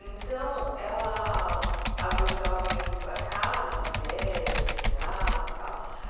Então, ela às vezes ela vinha para cá nas férias, no feriado e tal.